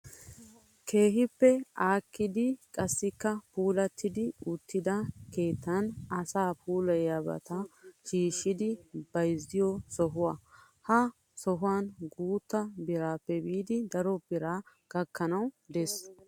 Keehippe aakkida qassikka puulatti uttida keettan asaa puulayiyaabata shiishidi bayizziyoo Sohuwaa. Ha sohuwaan guutta biraappe biidi daro biraa gakkanawu des.